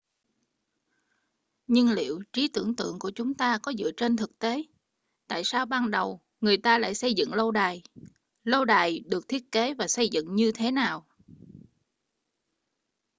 nhưng liệu trí tưởng tượng của chúng ta có dựa trên thực tế tại sao ban đầu người ta lại xây dựng lâu đài lâu đài được thiết kế và xây dựng như thế nào